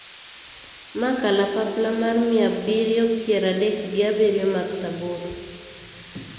Ma kalapapla mar mia abiriyo pier adek gi abiriyo Max aboro.